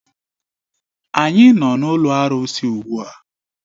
Anyị nọ n'ụlọ arụsị ugbu a